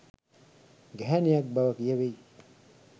ගැහැණියක් බව කියැවෙයි